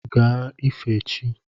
Gaa ife chi!